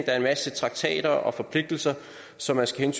er en masse traktater og forpligtelser som man skal